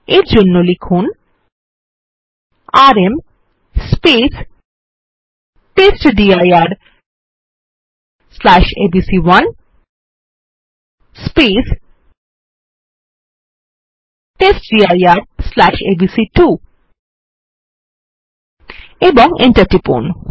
এই জন্য লিখুন আরএম testdirএবিসি1 testdirএবিসি2 এবং এন্টার টিপুন